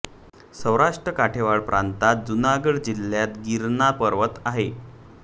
सौराष्ट्र काठेवाड प्रांतात जुनागड जिल्ह्यात गिरणार पर्वत आहे